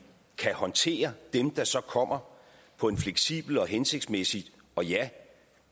kan håndtere dem der så kommer på en fleksibel og hensigtsmæssig og ja